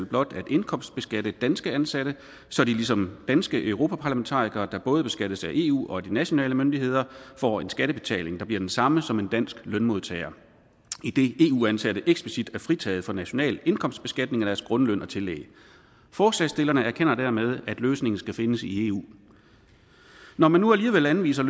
blot at indkomstbeskatte danske ansatte så de ligesom danske europaparlamentarikere der både beskattes af eu og af de nationale myndigheder får en skattebetaling der bliver den samme som en dansk lønmodtager idet eu ansatte eksplicit er fritaget fra national indkomstbeskatning af deres grundløn og tillæg forslagsstillerne erkender dermed at løsningen skal findes i eu når man nu alligevel anviser